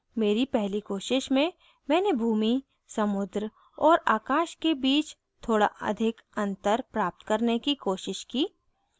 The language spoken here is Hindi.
मेरी पहली कोशिश में मैंने भूमि समुद्र और आकाश के bit थोड़ा अधिक अंतर प्राप्त करने की कोशिश की